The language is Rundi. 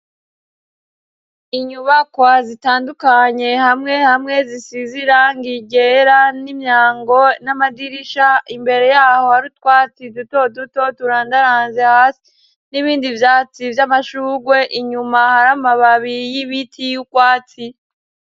Inyubakwa zitandukanye hamwe hamwe zisize irangi ryera n'imyango n'amadirisha imbere yaho hari utwatsi duto duto turandaranze hasi n'ibindi vyatsi vy'amashurwe inyuma hari amababi y'ibiti y'urwatsi.